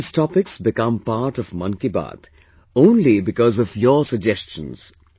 All these topics become part of 'Mann Ki Baat' only because of your suggestions